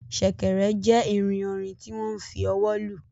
Sèkèrè jê ìrìn orin tí wo n fí ọwọ lù